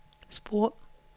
spor